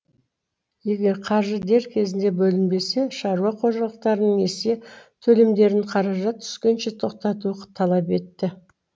егер қаржы дер кезінде бөлінбесе шаруа қожалықтарының несие төлемдерін қаражат түскенше тоқтату талап етті